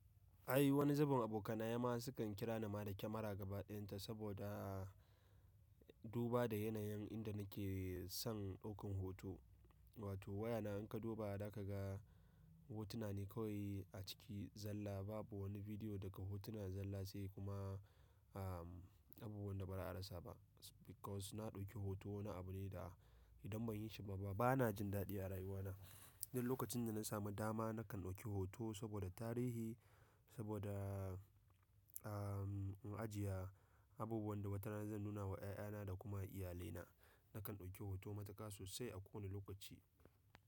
Ai wani zubin abokanaye ma sukan kira ni ma da kyamara gaba ɗayanta sabodaa duba da yanayin inda nike san ɗaukan hoto. Wato wayana in ka duba da kaga hotuna ne kawai a ciki zalla babu wani bidiyo daga hotuna zalla sai kuma abubuwan da ba a rasa ba. Because na ɗauki hoto wani abu ne da idan ban yi shi ba bana jin daɗi a rayuwana. Duk lokacin da na samu dama nakan ɗauki hoto saboda tarihi saboda am in ajiya abubuwan da wata rana zan nuna wa ƴaƴana da kuma iyalaina. Nakan ɗauki hoto matuƙa sosai a kowane lokaci.